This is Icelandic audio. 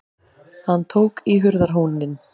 Hann tók í hurðarhúninn.